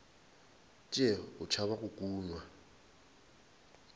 tšee o tšhaba go kunywa